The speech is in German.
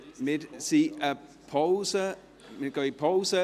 Wir gehen in die Pause.